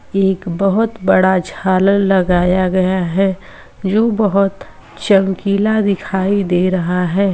एक बहोत बड़ा झालर लगाया गया है जो बहोत चमकीला दिखाई दे रहा है।